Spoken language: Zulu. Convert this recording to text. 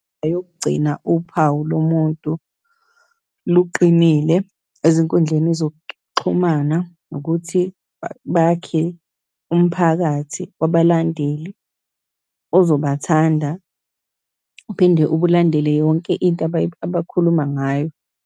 Oyokugcina uphawu lo muntu luqinile ezinkundleni zokukuxhumana, ukuthi bakhe umphakathi wabalandeli ozobathanda, uphinde ubulandele yonke into abakhuluma ngayo.